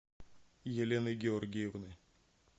елены георгиевны